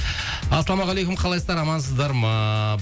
ассалаумағалейкум қалайсыздар амансыздар ма